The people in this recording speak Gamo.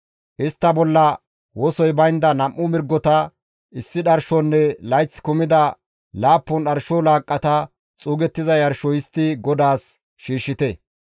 Istta bolla wosoy baynda 2 mirgota, issi dharshonne layth kumida laappun dharsho laaqqata xuugettiza yarsho histti GODAAS shiishshite.